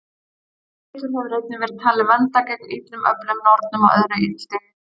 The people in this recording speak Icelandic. Þessi litur hefur einnig verið talinn vernda gegn illum öflum, nornum og öðru illþýði.